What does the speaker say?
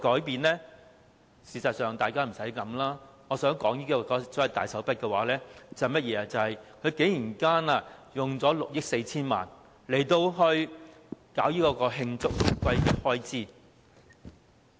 但實際上，大家不用多想，我說的所謂大手筆，其實是政府竟然動用6億 4,000 萬元作慶祝回歸的開支。